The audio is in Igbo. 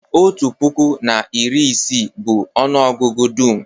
otu puku na iri isii bụ ọnụ ọgụgụ dum